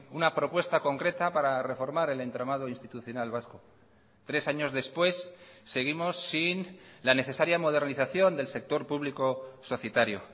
una propuesta concreta para reformar el entramado institucional vasco tres años después seguimos sin la necesaria modernización del sector público societario